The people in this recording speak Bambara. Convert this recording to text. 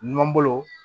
Numan bolo